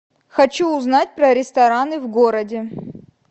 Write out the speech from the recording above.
хочу узнать про рестораны в городе